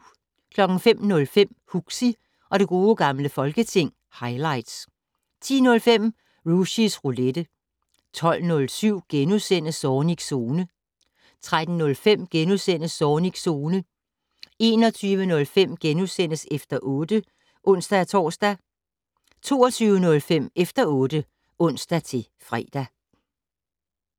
05:05: Huxi og det gode gamle folketing - highlights 10:05: Rushys Roulette 12:07: Zornigs Zone * 13:05: Zornigs Zone * 21:05: Efter 8 *(ons-tor) 22:05: Efter 8 (ons-fre)